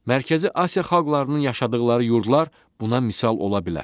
Mərkəzi Asiya xalqlarının yaşadıqları yurdlar buna misal ola bilər.